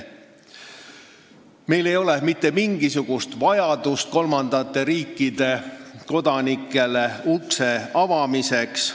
Meil ei ole mitte mingisugust vajadust kolmandate riikide kodanikele ust avada.